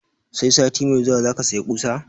Sai sati mai zuwa zaka saya ƙusa?